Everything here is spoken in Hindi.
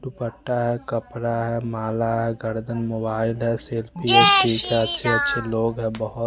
पत्ता है कपडा है माला है गार्डन मोबाइल है अछे अछे लोग है बोहोत --